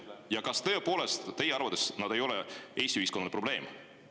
Ja kas tõepoolest teie arvates nad ei ole Eesti ühiskonna probleem?